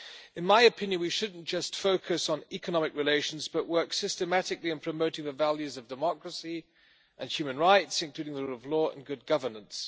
In my opinion, we should not just focus on economic relations, but work systematically in promoting the values of democracy and human rights, including the rule of law and good governance.